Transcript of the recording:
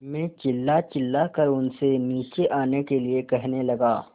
मैं चिल्लाचिल्लाकर उनसे नीचे आने के लिए कहने लगा